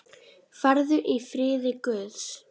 Farðu í friði Guðs.